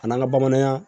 A n'an ka bamananya